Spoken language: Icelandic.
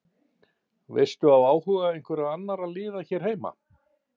Veistu af áhuga einhverra annarra liða hér heima?